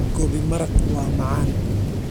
Gobi maraq waa macaan.